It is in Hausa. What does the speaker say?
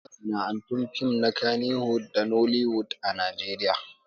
Akwai masana'antun fim na kannywood da nollywood a Najeriya